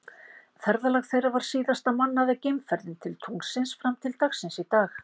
Ferðalag þeirra var síðasta mannaða geimferðin til tunglsins fram til dagsins í dag.